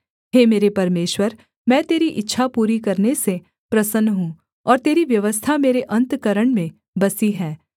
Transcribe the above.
हे मेरे परमेश्वर मैं तेरी इच्छा पूरी करने से प्रसन्न हूँ और तेरी व्यवस्था मेरे अन्तःकरण में बसी है